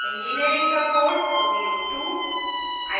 engineering का code 02